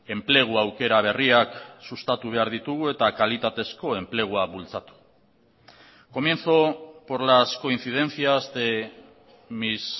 enplegu aukera berriak sustatu behar ditugu eta kalitatezko enplegua bultzatu comienzo por las coincidencias de mis